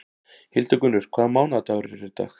Hildigunnur, hvaða mánaðardagur er í dag?